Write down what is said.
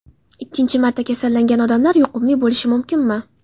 Ikkinchi marta kasallangan odamlar yuqumli bo‘lishi mumkinmi?